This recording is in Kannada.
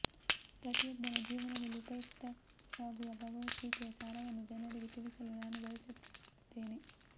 ಪ್ರತಿಯೊಬ್ಬನ ಜೀವನದಲ್ಲಿ ಉಪಯುಕ್ತವಾಗುವ ಭಗವದ್ಗೀತೆಯ ಸಾರವನ್ನು ಜನರಿಗೆ ತಿಳಿಸಲು ನಾನು ಬಯಸುತ್ತೇನೆ